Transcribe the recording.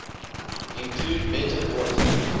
include better voice